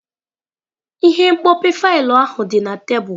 Ihe mkpope faịlụ ahụ dị na tebụl.